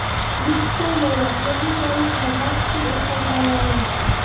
O‘zbekiston bo‘ylab milliy valyutada naqd pul o‘tkazmalari!.